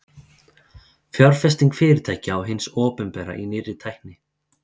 fjárfesting fyrirtækja og hins opinbera í nýrri tækni